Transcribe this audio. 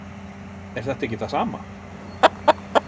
Er þetta ekki það sama?